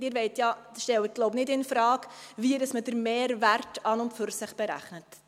Sie stellt nicht infrage, wie man den Mehrwert an und für sich berechnet.